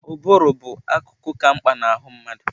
Ụbụrụ bụ akụkụ ka mkpa na ahụ mmadụ.